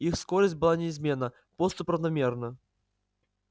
их скорость была неизменна поступь равномерна